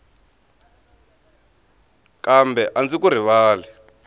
kambe a ndzi ku rivali